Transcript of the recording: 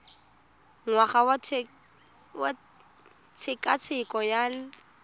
ngwaga wa tshekatsheko ya lokgetho